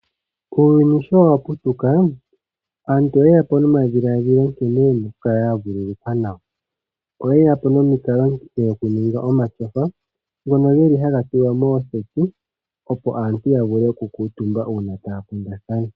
Uuyuni sho wa putuka aantu oyeya po nomadhiladhilo nkene yena okukala ya vululukwa nawa, oyeya po nomikalo dhokuninga omashofa, ngono geli haga tulwa mooseti, opo aantu ya vule okukuutumba uuna taya kundathana.